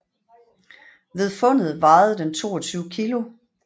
Ved fundet vejede den 22 kilo